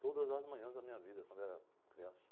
Todas as manhãs da minha vida, quando eu era criança.